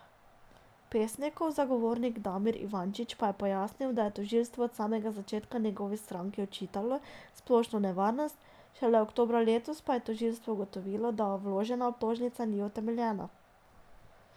Pesnikov zagovornik Damir Ivančič pa je pojasnil, da je tožilstvo od samega začetka njegovi stranki očitalo splošno nevarnost, šele oktobra letos pa je tožilstvo ugotovilo, da vložena obtožnica ni utemeljena.